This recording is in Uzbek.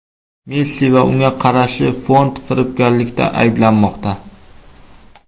Messi va unga qarashli fond firibgarlikda ayblanmoqda.